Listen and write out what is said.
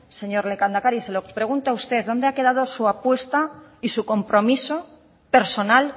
señor lehendakari se lo pregunto a usted dónde ha quedado su apuesta y su compromiso personal